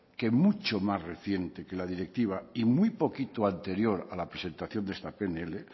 que mucho más reciente que la directiva y muy poquito anterior a la presentación de esta pnl